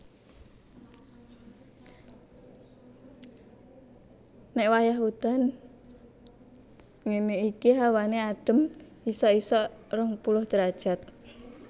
nek wayah udan ngene iki hawane adem isok isok 20 derajat